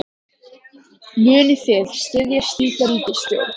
Munið þið styðja slíka ríkisstjórn?